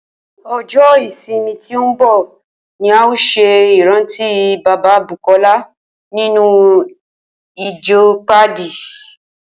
O̩jó̩ ìsinmi tó ń bò̩ ni a óò s̩e ìrántí bàbá Bùkó̩lá nínú ìjo̩ Páàdì